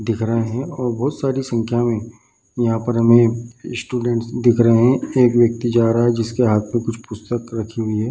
दिख रहे हैं और बहुत सारी संख्या मे यहाँ पर हमें स्टूडेंट दिख रहे हैं | एक व्यक्ति जा रहा है जिसके हाथ मे कुछ पुस्तक रखे हुए है |